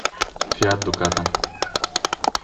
фиат дукато